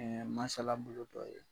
Ɛɛ masalabolo dɔ ye .